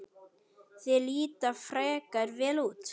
Þær líta frekar vel út.